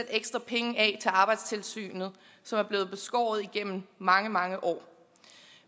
ekstra penge af til arbejdstilsynet som er blevet beskåret igennem mange mange år